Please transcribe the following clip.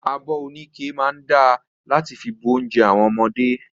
Abi oníke máa da láti fi bu ounjẹ àwọn ọmọdé.